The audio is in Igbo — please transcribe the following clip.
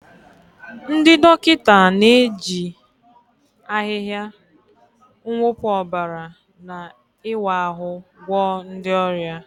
Ndị dọkịta na-eji ahịhịa, mwụpụ ọbara, na ịwa ahụ́ gwọọ ndị ọrịa.